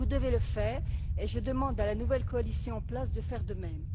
Vous devez le faire et je demande à la nouvelle coalition en place de faire de même.